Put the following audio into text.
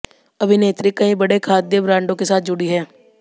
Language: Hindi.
अभिनेत्री कई बड़े खाद्य ब्रांडों के साथ जुड़ी हैं